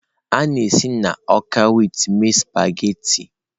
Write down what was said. A na-esi na ọka wit mee spaghetị.